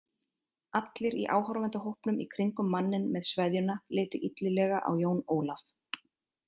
Allir í áhorfendahópnum í kringum manninn með sveðjuna litu illilega á Jón Ólaf.